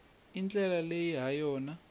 i ndlela leyi ha yona